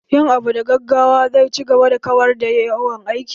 Yin abu da gaggawa zai ci gaba da kawar da yawan aiki